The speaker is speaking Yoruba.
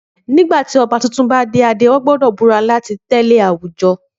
Nígbà tí ọba tuntun bá de adé, wọ́n gbọ́dọ̀ búra láti tẹ̀lé àwùjọ.